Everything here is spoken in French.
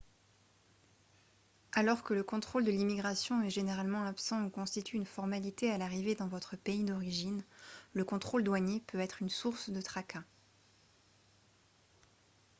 alors que le contrôle de l'immigration est généralement absent ou constitue une formalité à l'arrivée dans votre pays d'origine le contrôle douanier peut être une source de tracas